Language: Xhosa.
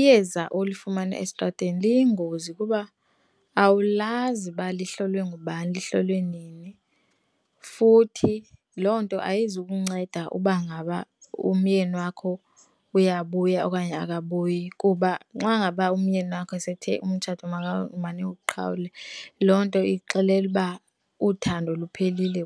Iyeza olifumana estrateni liyingozi kuba awulazi uba lihlolwe ngubani, lihlolwe nini futhi loo nto ayizukunceda uba ngaba umyeni wakho uyabuya okanye akabuyi, kuba xa ngaba umyeni wakho sethe umtshato maniwuqhawulwe, loo nto ikuxelela uba uthando luphelile